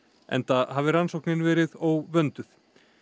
enda hafi rannsóknin verið óvönduð